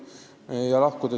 Ja siis saab lahkuda.